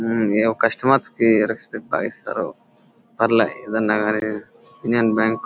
ఊహ్హ్ customers కి respect బాగా ఇస్తారు. పేర్లే ఇదేనా గాను యూనియన్ బ్యాంకు --